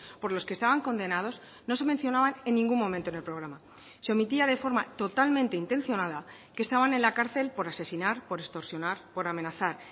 por los que estaban condenados no se mencionaban en ningún momento en el programa se omitía de forma totalmente intencionada que estaban en la cárcel por asesinar por extorsionar por amenazar